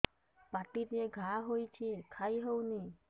ପାଟିରେ ଘା ହେଇଛି ଖାଇ ହଉନି